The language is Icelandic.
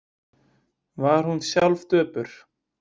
Var hún sjálf döpur?